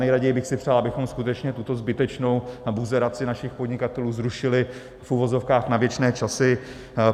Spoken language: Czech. Nejraději bych si přál, abychom skutečně tuto zbytečnou buzeraci našich podnikatelů zrušili v uvozovkách na věčné časy.